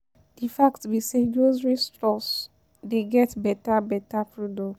De fact be say grocery store dey get better better product.